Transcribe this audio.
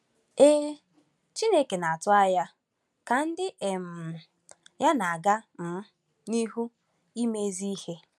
Ee, Chineke na-atụ anya ka ndị um ya na-aga um n’ihu ime ezi ihe.